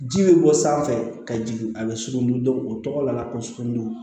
Ji bɛ bɔ sanfɛ ka jigin a bɛ sugunɛ don o tɔgɔ la ko sugunɛ don